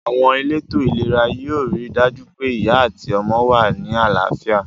Àwon elétò ìlera yio ri dàjú pe ìyá àti ọmọ wa ni àláfíà